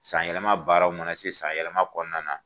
San yɛlɛma baaraw mana se san yɛlɛma kɔnɔna na.